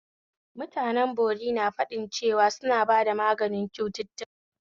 Mutanen bori na faɗin cewa suna ba da maganin cututtuka